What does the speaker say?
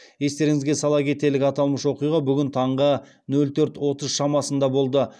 естеріңізге сала кетелік аталмыш оқиға бүгін таңғы нөл төрт отыз шамасында болды